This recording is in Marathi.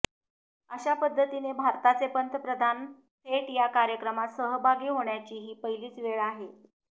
अशा पद्धतीने भारताचे पंतप्रधान थेट या कार्यक्रमात सहभागी होण्याची ही पहिलीच वेळ आहे